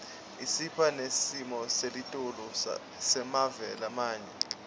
isipha nesimoselitulu semave lamanye